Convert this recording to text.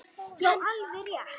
Já, alveg rétt.